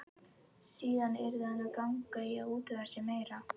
Síðan yrði hann að ganga í að útvega sér meira.